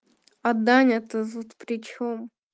а даня то тут при чём